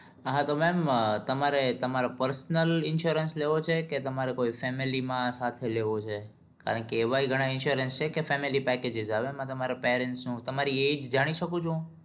હા તો mem તમારે તમારો prsnl insurance લેવો છે કે તમારે કોઈ family માં સાથે લેવો છે કારણ કે એવા ઘણાય insurance છે કે family package આવે એમાં તમારા parents નું તમારી age જાની સકું છુ હું?